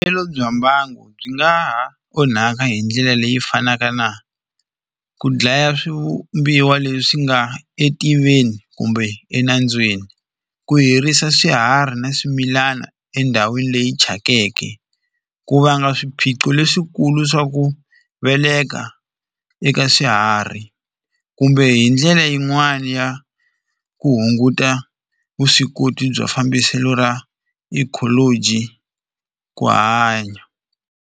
Vuyelo bya mbangu byi nga ha onhaka hi ndlela leyi fanaka na ku dlaya swivumbiwa leswi nga etiveni kumbe enambyeni ku herisa swiharhi na swimilana endhawini leyi thyakeke ku vanga swiphiqo leswikulu swa ku veleka eka swiharhi kumbe hi ndlela yin'wani ya ku hunguta vuswikoti bya fambiselo ra ecology ku hanya.